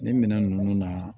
Nin minɛn ninnu na